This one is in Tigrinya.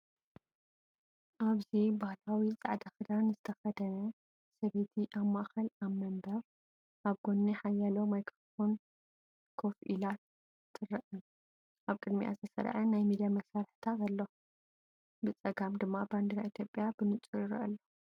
ኣብዚ፡ ባህላዊ ጻዕዳ ክዳን ዝተኸድነ ሰብይቲ፡ ኣብ ማእከል ኣብ መንበር፡ ኣብ ጎኒ ሓያሎ ማይክሮፎናት ኮፍ ኢላ ትረአ። ኣብ ቅድሚኣ ዝተሰርዐ ናይ ሚድያ መሳርሒታት ኣሎ፣ ብጸጋም ድማ ባንዴራ ኢትዮጵያ ብንጹር ይርአ ኣሎ።